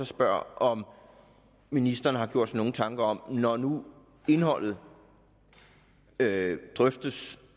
spørger om ministeren har gjort sig nogle tanker om det når nu indholdet drøftes